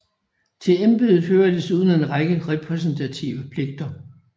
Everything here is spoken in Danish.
Til embedet hører desuden en række repræsentative pligter